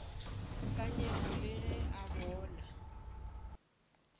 nyepo le ge a bona